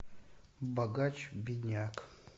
богач бедняк